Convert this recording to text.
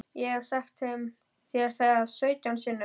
Ég hef sagt þér það sautján sinnum.